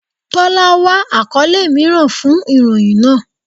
Tọ́lá wá àkọ́lé mìíràn fun ìròyìn náà.